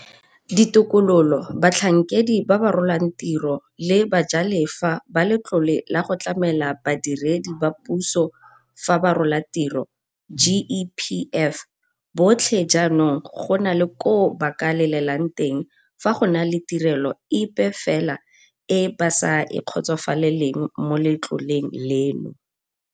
Ditokololo, batlhankedi ba ba rolang tiro le bajalefa ba Letlole la go Tlamela Ba diredi ba Puso fa ba Rola Tiro, GEPF, botlhe jaanong go na le koo ba ka lelelang teng fa go na le tirelo epe fela e ba sa e kgotsofalelang mo letloleng leno.